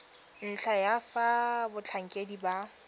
ntlha ya fa batlhankedi ba